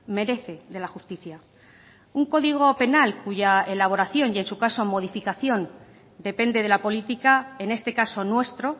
merece de la justicia un código penal cuya elaboración y en su caso modificación depende de la política en este caso nuestro